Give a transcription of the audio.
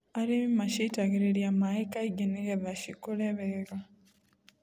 Arĩmi macitagĩrĩria maĩ kaingĩ nĩgetha cikũrwe wega.